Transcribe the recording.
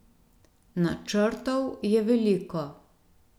Načrtov je veliko.